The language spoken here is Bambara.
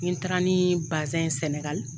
Ni n taara ni bazɛn ye Sɛnɛgali